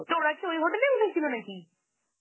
তো ওরা কি ওই hotel এই উঠেছিল নাকি?